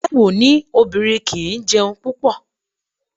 Taiwo ní obìnrin kì í jẹun púpọ̀.